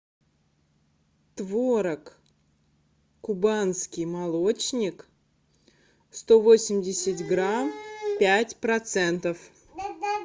творог кубанский молочник сто восемьдесят грамм пять процентов